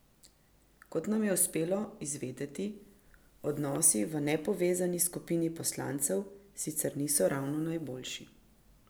Kot nam je uspelo izvedeti, odnosi v nepovezani skupini poslancev sicer niso ravno najboljši.